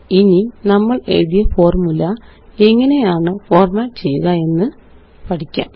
ഇനി നമ്മളെഴുതിയ ഫോര്മുല എങ്ങനെയാണ് ഫോര്മാറ്റ് ചെയ്യുക എന്ന് പഠിക്കാം